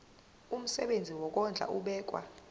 umsebenzi wokondla ubekwa